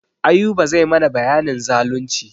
Ayuba zai mana bayanin zalunci.